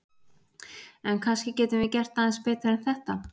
En kannski getum við gert aðeins betur en þetta!